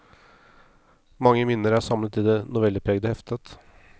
Mange minner er samlet i det novellepregede heftet.